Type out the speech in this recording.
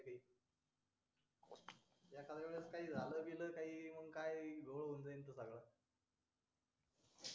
एखाद्या वेळेस काय झालं बिल तर काय घोळ होऊन जाईल सगळा